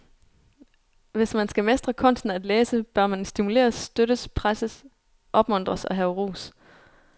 Hvis man skal mestre kunsten at læse, bør man stimuleres, støttes, presses, opmuntres og have ros.